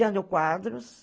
Jânio Quadros.